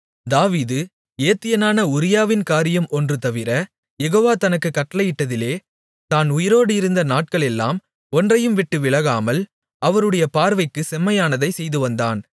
தாவீது ஏத்தியனான உரியாவின் காரியம் ஒன்றுதவிர யெகோவா தனக்குக் கட்டளையிட்டதிலே தான் உயிரோடு இருந்த நாட்களெல்லாம் ஒன்றையும் விட்டுவிலகாமல் அவருடைய பார்வைக்குச் செம்மையானதைச் செய்துவந்தான்